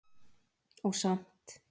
Og samt